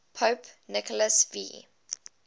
pope nicholas v